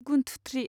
गुनथुथ्रि